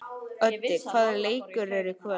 Öddi, hvaða leikir eru í kvöld?